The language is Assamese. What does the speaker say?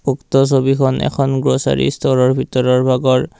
উক্ত ছবিখন এখন গ্লচ্চাৰী ষ্ট'ৰৰ ভিতৰৰ ভাগৰ।